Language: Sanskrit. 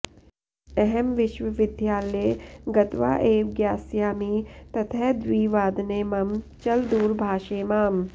अहं विश्वविद्यालये गत्वा एव ज्ञास्यामि ततः द्विवादने मम चलदूरभाषे मां